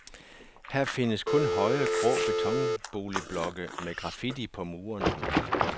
Her findes kun høje, grå betonboligblokke med graffiti på murene.